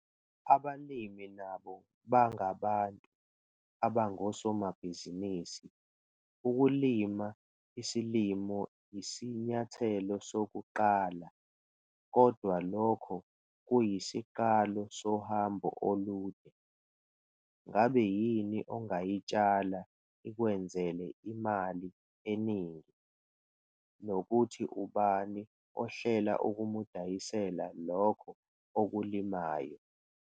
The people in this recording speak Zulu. Abalimi nabo bangabantu abangosomabhizinisi - ukulima isilimo yisinyathelo sokuqala, kodwa lokho kuyisiqalo sohambo olude. Ngabe yini ongayitshala ikwenzele imali eningi, nokuthi ubani ohlela ukumdayisela lokho okulimayo?